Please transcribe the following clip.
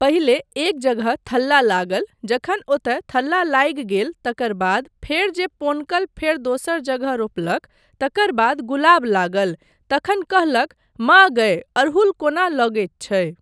पहिले एक जगह थल्ला लागल जखन ओतय थल्ला लागि गेल तकर बाद फेर जे पोनकल फेर दोसर जगह रोपलक तकर बाद गुलाब लागल तखन कहलक माँ गय अड़हूल कोना लगैत छै।